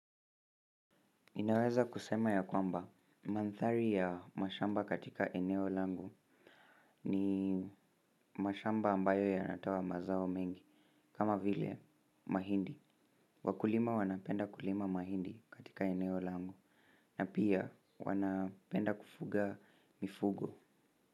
Ninaweza kusema ya kwamba mandhari ya mashamba katika eneo langu, ni mashamba ambayo yanatoa mazao mengi kama vile mahindi Wakulima wanapenda kulima mahindi katika eneo langu, na pia wanapenda kufuga mifugo.